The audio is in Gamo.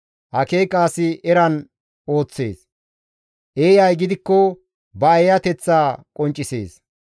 Akeekiza asi eran ooththees; eeyay gidikko ba eeyateththa qonccisees.